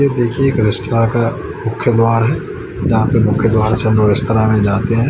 यह देखिए एक रेस्टोरेंट मुख्य द्वार है यहां पे मुख्य द्वार से हम लोग रेस्तरां में जाते हैं।